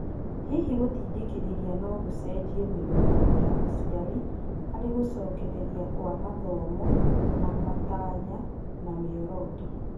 Hihi gũtindĩkirĩria nogũcenjie mĩrũgamo ya aciari harĩ gũcokereria kwa mathomo na matanya na mĩoroto ?